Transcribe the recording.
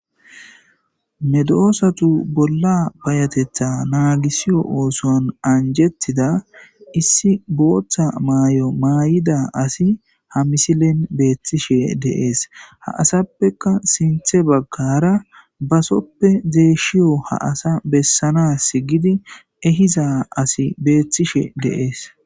Medosatu bolla bayatetha naagisiyo ooson anjettida issi booththa maay7o maay7ida asi ha misilen beethtishe deees ha asappeka sinthe baggara basoppe deeshshiyo ha asa bessana s gidi ehiza asi beethtishe deees.